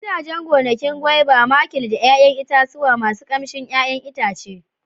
Gidajen gonakin guaiba, makil da 'ya'yan itatuwa masu ƙamshin 'ya'yan itace.